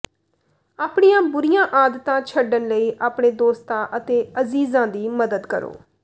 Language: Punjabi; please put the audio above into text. ਆਪਣੀਆਂ ਬੁਰੀਆਂ ਆਦਤਾਂ ਛੱਡਣ ਲਈ ਆਪਣੇ ਦੋਸਤਾਂ ਅਤੇ ਅਜ਼ੀਜ਼ਾਂ ਦੀ ਮਦਦ ਕਰੋ